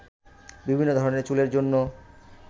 বিভিন্ন ধরনের চুলের জন্য